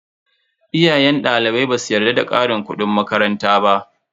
Iyayen dalibai basu yarda da karin kudin makaranta ba.